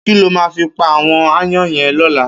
Kiló má fi pá áwòn àáyàn yèn lòlá